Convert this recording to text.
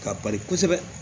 K'a bari kosɛbɛ